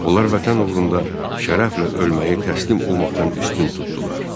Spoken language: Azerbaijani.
Onlar Vətən uğrunda şərəflə ölməyi təslim olmaqdan üstün tutdular.